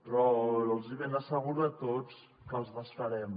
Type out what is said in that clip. però els ben asseguro a tots que els desfarem